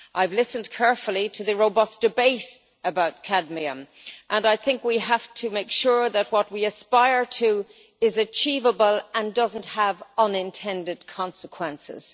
I have listened carefully to the robust debate about cadmium, and I think we have to make sure that what we aspire to is achievable and does not have unintended consequences.